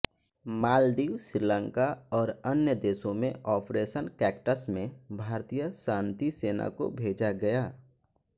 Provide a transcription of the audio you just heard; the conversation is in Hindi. मालदीव श्रीलंका और अन्य देशों में ऑपरेशन कैक्टस में भारतीय शांति सेना को भेजा गया